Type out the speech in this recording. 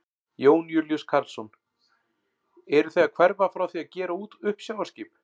Jón Júlíus Karlsson: Eruð þið að hverfa frá því að gera út uppsjávarskip?